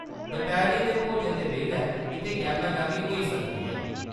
दपैह्‌‌री दे भोजन दे बेल्लै इत्थै गैह्‌मा-गैह्‌मी होई सकदी ऐ।